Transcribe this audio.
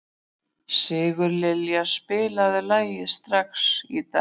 Sigurlilja, spilaðu lagið „Strax í dag“.